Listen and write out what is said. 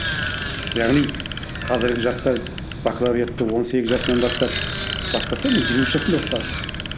яғни қазіргі жастар бакалавриатты он сегіз жасынан бастап бастаса мен жиырма үш жасымда бастағанмын